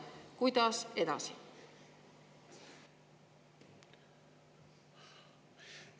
Kuidas edasi?